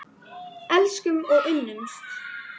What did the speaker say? Elskumst og unnumst.